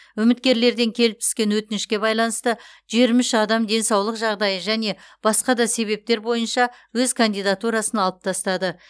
үміткерлерден келіп түскен өтінішке байланысты жиырма үш адам денсаулық жағдайы және басқа да себептер бойынша өз кандидатурасын алып тастады